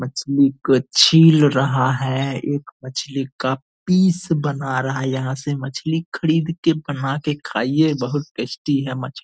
मछली को छील रहा है एक मछली का पीस बना रहा है यहाँ से मछली खरीद के बना के खाइए बहुत टेस्टी है मछ --